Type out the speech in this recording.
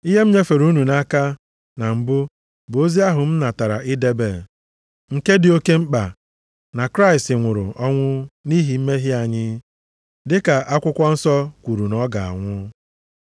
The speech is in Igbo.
Ihe m nyefere unu nʼaka na mbụ bụ ozi ahụ m natara ị debe, nke dị oke mkpa, na Kraịst nwụrụ ọnwụ nʼihi mmehie anyị, dịka akwụkwọ nsọ kwuru na ọ ga-anwụ.